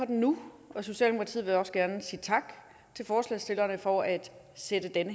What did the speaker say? den nu og socialdemokratiet vil også gerne sige tak til forslagsstillerne for at sætte den